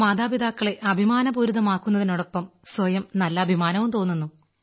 മാതാപിതാക്കളെ അഭിമാനപൂരിതമാക്കുതിനോടൊപ്പം സ്വയവും നല്ല അഭിമാനം തോന്നുന്നു